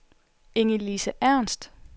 Ingelise Ernst